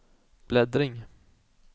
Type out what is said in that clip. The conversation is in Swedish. bläddring